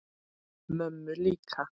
Mömmu líka?